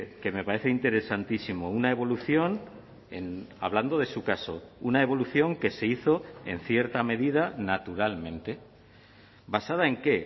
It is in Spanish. que me parece interesantísimo una evolución hablando de su caso una evolución que se hizo en cierta medida naturalmente basada en qué